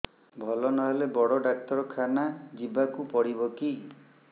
ଭଲ ନହେଲେ ବଡ ଡାକ୍ତର ଖାନା ଯିବା କୁ ପଡିବକି